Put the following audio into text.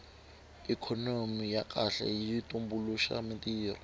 ikhonomi ya kahle yi tumbuluxa mintirho